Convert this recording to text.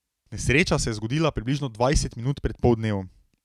Nesreča se je zgodila približno dvajset minut pred poldnevom.